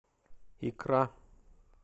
икра